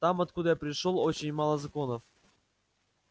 там откуда я пришёл очень мало законов